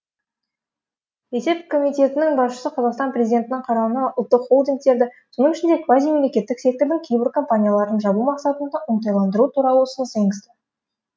есеп комитетінің басшысы қазақстан президентінің қарауына ұлттық холдингтерді соның ішінде квазимемлекеттік сектордың кейбір компанияларын жабу мақсатында оңтайландыру туралы ұсыныс енгізді